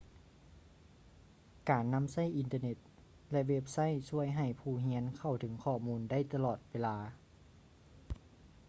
ການນຳໃຊ້ອິນເຕີ້ເນັດ ແລະ ເວັບໄຊທຊ່ວຍໃຫ້ຜູ້ຮຽນເຂົ້າເຖິງຂໍ້ມູນໄດ້ຕະຫຼອດເວລາ